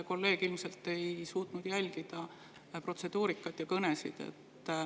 Kolleeg ilmselt ei suutnud jälgida protseduurikat ja kõnesid.